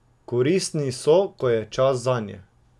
Koristni so, ko je čas zanje.